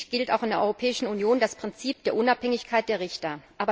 Schließlich gilt auch in der Europäischen Union das Prinzip der Unabhängigkeit der Richter.